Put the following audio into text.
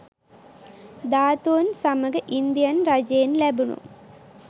ධාතුන් සමඟ ඉන්දියන් රජයෙන් ලැබුණූ